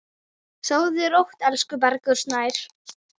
Sofðu rótt, elsku Bergur Snær.